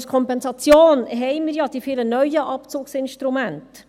Als Kompensation haben wir ja die vielen neuen Abzugsinstrumente.